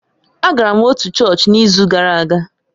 Agara m otu chọọchị n'izu gara aga